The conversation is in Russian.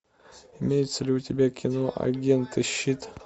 имеется ли у тебя кино агенты щит